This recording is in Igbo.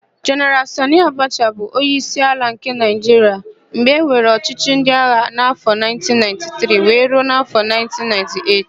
Jeneral Sanị Abacha bụ onyeisi ala nke Naịjiria mgbe enwere ọchịchị ndịagha n'afọ 1993 wee ruo afọ 1998.